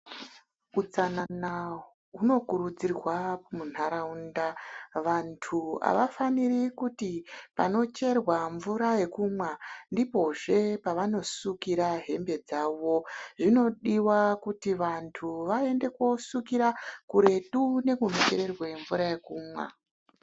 Utsanana hunokurudzirwa muntaraunda, vantu havafaniri kuti panocherwa mvura yokumwa ndipozve pavanosukira hembe dzavo, zvinodiwa kuti vantu vaende kunosukira kuretu nekunochererwe mvura yokumwa.